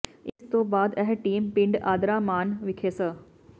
ਇਸ ਤੋਂ ਬਾਅਦ ਇਹ ਟੀਮ ਪਿੰਡ ਆਦਰਾਮਾਣ ਵਿਖੇ ਸ